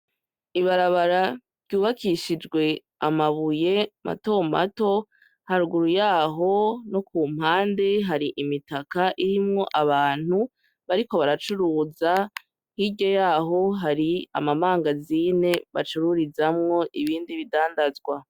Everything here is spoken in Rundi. Ibarabara ryubakishijwe amabuye mato mato, haruguru yaho no ku mpande hari imitaka irimwo abantu bariko baracuruza, hirya yaho hari ama mangazine bacururizamwo ibindi bidandazwa.